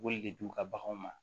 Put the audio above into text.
K'olu le d'u ka baganw ma